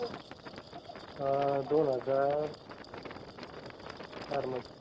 अह दोन हजार चारमधे.